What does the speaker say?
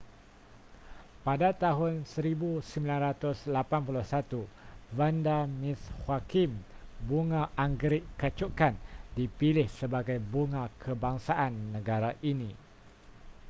pada tahun 1981 vanda miss joaquim bunga anggerik kacukan dipilih sebagai bunga kebangsaan negara ini